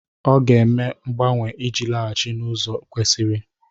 Ọ ga-eme mgbanwe iji laghachi n'ụzọ kwesiri.